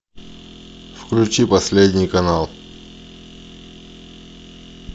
включи последний канал